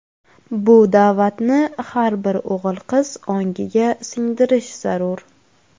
Bu da’vatni har bir o‘g‘il-qiz ongiga singdirish zarur.